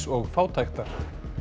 og fátæktar